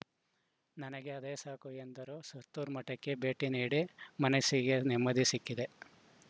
ನನಗೆ ಅದೇ ಸಾಕು ಎಂದರು ಸುತ್ತೂರು ಮಠಕ್ಕೆ ಭೇಟಿ ನೀಡಿ ಮನಸ್ಸಿಗೆ ನೆಮ್ಮದಿ ಸಿಕ್ಕಿದೆ